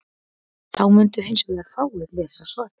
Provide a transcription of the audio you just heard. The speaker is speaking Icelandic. þá mundu hins vegar fáir lesa svarið